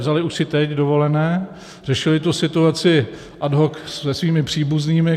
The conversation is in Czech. Vzali už si teď dovolené, řešili tu situaci ad hoc se svými příbuznými.